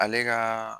Ale ka